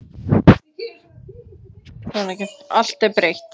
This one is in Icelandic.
Allt er breytt.